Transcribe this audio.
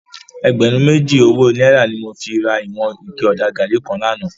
Ègbèrún méjí ówó nàírá ni mó fi rá iwòn iké òdá gàrí kán làná